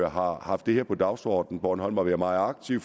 har haft det her på dagsordenen og bornholm har været meget aktiv